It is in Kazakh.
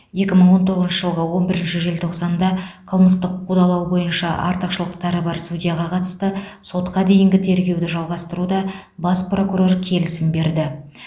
екі мың он тоғызыншы жылғы он бірінші желтоқсанда қылмыстық қудалау бойынша артықшылықтары бар судьяға қатысты сотқа дейінгі тергеуді жалғастыруға бас прокурор келісім берді